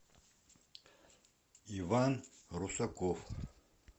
иван русаков